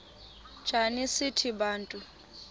njana sithi bantu